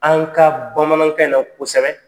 An ka bamanankan in na kosɛbɛ